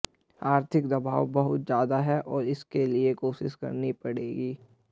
आर्थिक दबाव बहुत ज्यादा है और इसके लिए कोशिश करनी पड़ेगी